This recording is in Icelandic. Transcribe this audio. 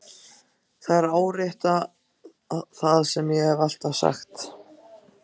Þær árétta það sem ég hef alltaf sagt.